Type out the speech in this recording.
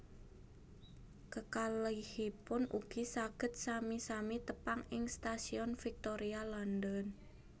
Kekalihipun ugi saged sami sami tepang ing Stasiun Victoria London